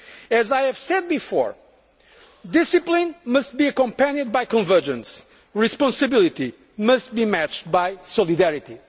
As I have said before, discipline must be accompanied by convergence and responsibility matched by solidarity.